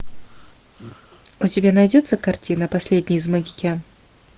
у тебя найдется картина последний из магикян